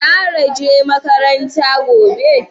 Zara je makaranta gobe?